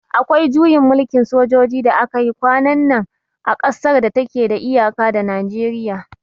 Akwai juyin mulkin sojoji da aka yi kwanan nan a kasar da ta ke da iyaka da Najeriya